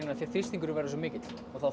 af því þrýstingurinn verður svo mikill og þá